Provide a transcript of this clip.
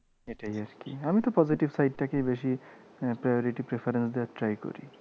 এটাই আর কি। আমি তো positive side টাকেই বেশি priority preference দেওয়ার try করি।